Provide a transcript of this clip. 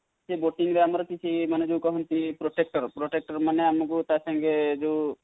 ସେ boating ରେ ଆମର ଯଦି କିଛି ମାନେ ଯାଉ କୁହନ୍ତି protector, protector ମାନେ ଆମକୁ ତାସାଙ୍ଗେ ଯୋଉ